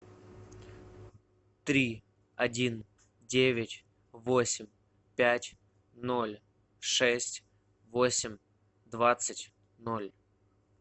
три один девять восемь пять ноль шесть восемь двадцать ноль